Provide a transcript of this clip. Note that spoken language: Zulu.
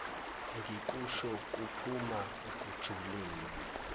ngikusho kuphuma ekujuleni